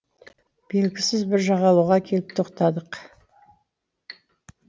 белгісіз бір жағалауға келіп тоқтадық